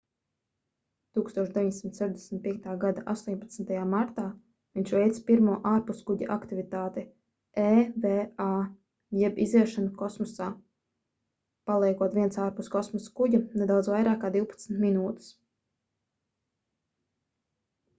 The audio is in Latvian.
1965. gada 18. martā viņš veica pirmo ārpuskuģa aktivitāti eva jeb iziešanu kosmosā paliekot viens ārpus kosmosa kuģa nedaudz vairāk kā divpadsmit minūtes